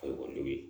Ka ekɔlidenw ye